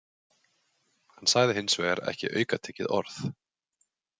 Hann sagði hins vegar ekki aukatekið orð.